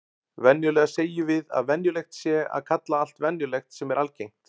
Venjulega segjum við að venjulegt sé að kalla allt venjulegt sem er algengt.